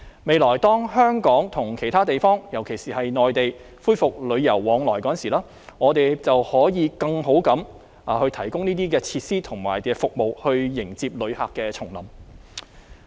未來當香港跟其他地方——尤其是內地——恢復旅遊往來的時候，我們便可以更好地提供這些設施和服務來迎接旅客重臨。